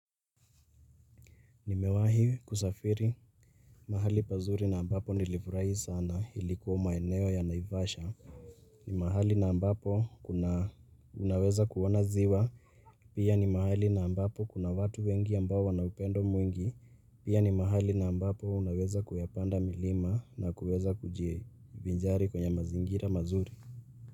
Nimewahi kusafiri mahali pazuri na ambapo nilifurahi sana ilikuwa maeneo ya Naivasha. Ni mahali na ambapo kuna, unaweza kuona ziwa. Pia ni mahali na ambapo kuna watu wengi ambao wana upendo mwingi. Pia ni mahali na ambapo unaweza kuyapanda milima na kuweza kujivinjari kwenye mazingira mazuri.